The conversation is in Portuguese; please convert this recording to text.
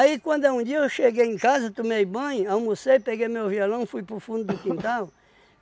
quando é um dia eu cheguei em casa, tomei banho, almocei, peguei meu violão, fui para o fundo do quintal.